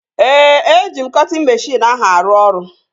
Ee, eji m cọtịn meshịn ahụ arụ ọrụ